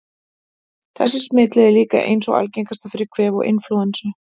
Þessi smitleið er líka ein sú algengasta fyrir kvef og inflúensu.